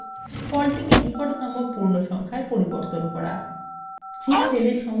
সেইক্ষেত্রে সবচেয়ে ভালো সমাধান হলো ফলটিকে নিকটতম পূর্ণ সংখ্যায় পরিবর্তন করা